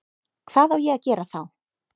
Hvað á ég að gera þá?